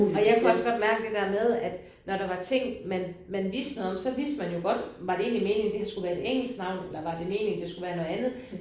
Og jeg kunne også godt mærke det der med at når der var ting man man vidste noget om så vidste man jo godt var det egentlig meningen der her skulle være et engelsk navn eller var det meningen det skulle være noget andet?